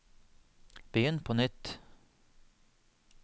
begynn på nytt